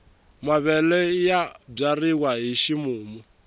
mavele ya byariwa hi ximumu